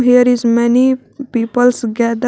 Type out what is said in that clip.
There is many peoples gethe --